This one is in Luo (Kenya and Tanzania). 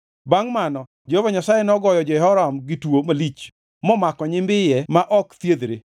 Bangʼ mano Jehova Nyasaye nogoyo Jehoram gi tuo malich momako nyimbiye ma ok thiedhre.